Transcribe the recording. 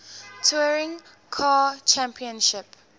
touring car championship